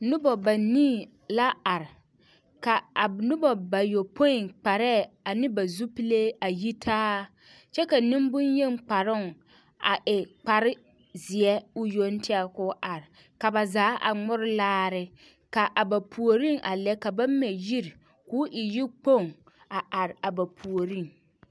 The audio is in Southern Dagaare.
Noba banii la are ka a noba bayoɔpoe kparɛɛ ane ba zupile a yitaa kyɛ ka nembonyeni kparoo e koarzeɛ yoŋ tɛŋ ka o are ka ba zaa a mori laare ka a ba puoriŋ a lɛ ka ba mɛ yiri ka o e yikpoŋ a are a ba puoriŋ.